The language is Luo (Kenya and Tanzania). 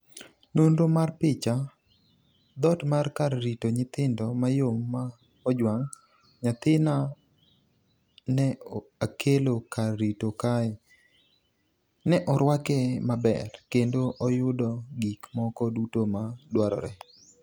nonro mar picha. thot mar kar rito nyithindo mayom ma ojwang''' nyathina ne akelo kar ritogi kae.ne orwake maber, kendo oyudo gik moko duto ma dwarore.